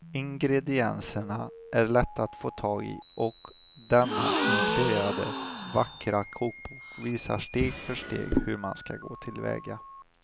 Ingredienserna är lätta att få tag i och denna inspirerande, vackra kokbok visar steg för steg hur man ska gå tillväga.